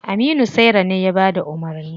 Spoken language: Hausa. Aminu saira ne ya bada umarni.